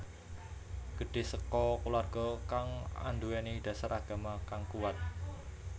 Gedhe saka kulawarga kang anduweni dasar agama kang kuwat